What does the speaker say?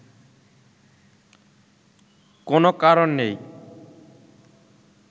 কোন কারণ নেই